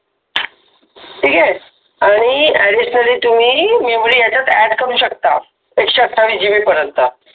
ठीक आहे आणि ऍडिशनल तुम्ही मेमरी याच्यामध्ये ऍड करू शकता एकशे आठविस जी बी पर्यंत